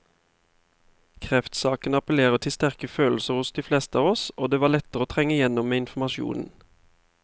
Kreftsaken appellerer til sterke følelser hos de fleste av oss, og det var lettere å trenge igjennom med informasjon.